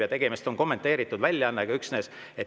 Ja tegemist on üksnes kommenteeritud väljaandega.